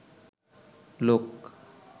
লোক